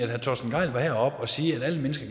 herre torsten gejl var heroppe og sige at alle mennesker